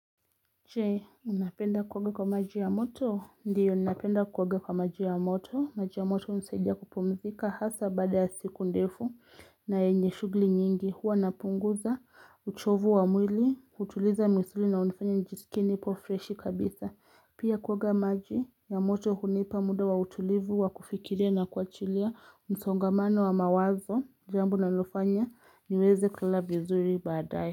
Je, unapenda kuoga kwa maji ya moto? Ndiyo ninapenda kuoga kwa maji ya moto, maji ya moto hunisaidia kupumzika hasa baada ya siku ndefu. Na yenye shughuli nyingi, huwa napunguza uchovu wa mwili, hutuliza misuli na hunifanya nijisikie nipofreshi kabisa. Pia kuoga maji ya moto hunipa muda wa utulivu, wakufikiria na kuachilia, msongamano wa mawazo, jambo linalonifanya, niweze kulala vizuri baadae.